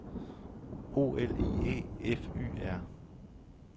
O L I E F Y R